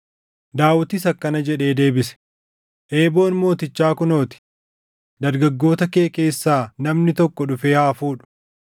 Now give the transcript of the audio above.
Daawitis akkana jedhee deebise; “Eeboon mootichaa kunoo ti; dargaggoota kee keessaa namni tokko dhufee haa fuudhu.